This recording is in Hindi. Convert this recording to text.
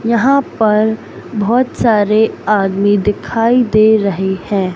यहाँ पर बहोत सारे आदमी दिखाई दे रहें हैं।